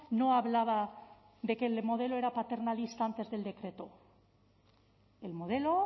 no hablaba de que el modelo era paternalista antes del decreto el modelo